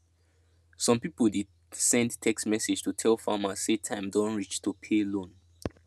some people dey send text message to tell farmer say time don reach to pay loan